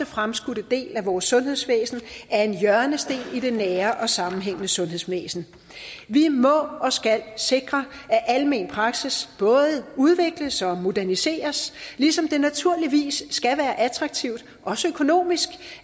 fremskudte del af vores sundhedsvæsen er en hjørnesten i det nære og sammenhængende sundhedsvæsen vi må og skal sikre at almen praksis både udvikles og moderniseres ligesom det naturligvis skal være attraktivt også økonomisk